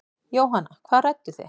Jóhanna: Hvað rædduð þið?